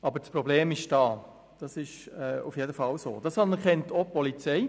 Aber das Problem ist vorhanden, das anerkennt auch die Polizei.